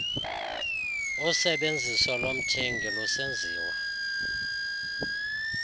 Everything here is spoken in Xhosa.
usebenziso lomthengi lusenziwa